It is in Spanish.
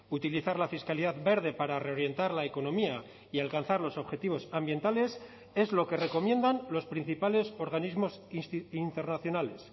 utilizar la fiscalidad verde para reorientar la economía y alcanzar los objetivos ambientales es lo que recomiendan los principales organismos internacionales